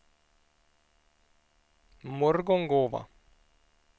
Morgongåva